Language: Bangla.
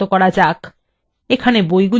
এখানে বইগুলি রয়েছে